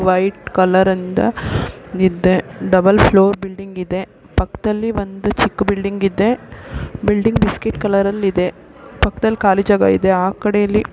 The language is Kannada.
ವೈಟ್ ಕಲರ್ ಇಂದ ಇದೆ ಡಬುಲ್ ಫ್ಲೋರ್ ಬಿಲ್ಡಿಂಗ್ ಇದೆ ಪಕ್ಕದಲ್ಲಿ ಒಂದು ಚಿಕ್ಕು ಬಿಲ್ಡಿಂಗ್ ಇದೆ ಬಿಲ್ಡಿಂಗ್ ಬಿಸ್ಕಟ್ ಕಲರ್ ಅಲ್ಲಿ ಇದೆ ಪಕ್ಕದಲ್ಲಿ ಕಾಲಿ ಜಾಗ ಇದೆ ಆಕಡೆಯಲ್ಲಿ--